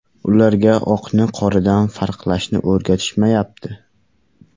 Ularga oqni qoradan farqlashni o‘rgatishmayapti.